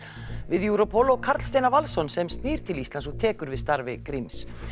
við Europol og Karl Steinar Valsson sem snýr til Íslands og tekur við starfi Gríms